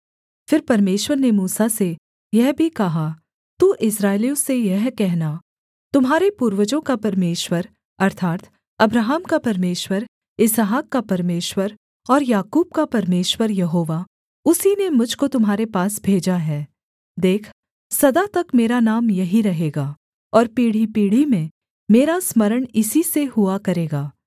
फिर परमेश्वर ने मूसा से यह भी कहा तू इस्राएलियों से यह कहना तुम्हारे पूर्वजों का परमेश्वर अर्थात् अब्राहम का परमेश्वर इसहाक का परमेश्वर और याकूब का परमेश्वर यहोवा उसी ने मुझ को तुम्हारे पास भेजा है देख सदा तक मेरा नाम यही रहेगा और पीढ़ीपीढ़ी में मेरा स्मरण इसी से हुआ करेगा